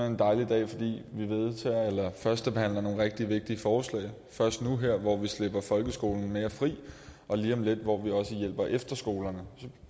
en dejlig dag fordi vi førstebehandler nogle rigtig vigtige forslag først nu her hvor vi slipper folkeskolen mere fri og lige om lidt hvor vi også hjælper efterskolerne